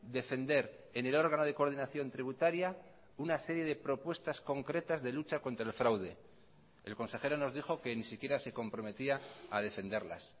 defender en el órgano de coordinación tributaria una serie de propuestas concretas de lucha contra el fraude el consejero nos dijo que ni siquiera se comprometía a defenderlas